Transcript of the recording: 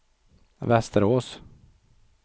Västerås